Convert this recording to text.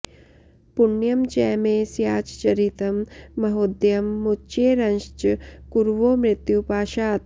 पुण्यं च मे स्याच्चरितं महोदयं मुच्येरंश्च कुरवो मृत्युपाशात्